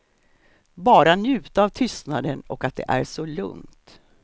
Bara njuta av tystnaden och att det är så lugnt.